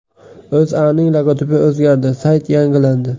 O‘zAning logotipi o‘zgardi, sayti yangilandi.